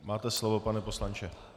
Máte slovo, pane poslanče.